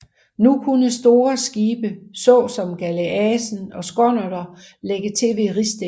Nu kunne store skibe såsom galeaset og skonnerter lægge til ved Ristinge